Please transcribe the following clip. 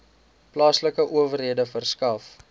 plaaslike owerhede verskaf